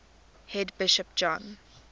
head bishop john